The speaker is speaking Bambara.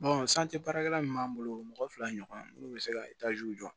baarakɛla min b'an bolo mɔgɔ fila ɲɔgɔn munnu bɛ se ka jɔ